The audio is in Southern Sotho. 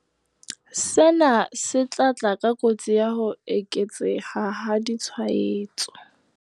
Sena se tla tla ka kotsi ya ho eketseha ha ditshwaetso.